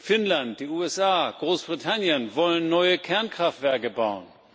Finnland, die USA, Großbritannien wollen neue Kernkraftwerke bauen.